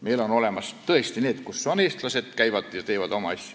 Meil on olemas need ringid, kus käivad eestlased ja teevad oma asju.